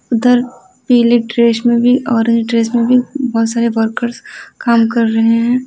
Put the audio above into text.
उधर पीले ड्रेस में भी और ऑरेंज ड्रेस में भी बहुत सारे वर्कर्स काम कर रहे हैं।